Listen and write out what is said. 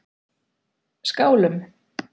Skálum